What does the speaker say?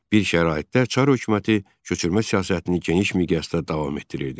Bir şəraitdə çar hökuməti köçürmə siyasətini geniş miqyasda davam etdirirdi.